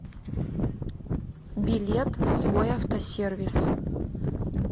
билет свой автосервис